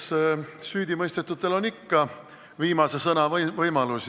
Eks süüdimõistetutel on ikka viimse sõna võimalus.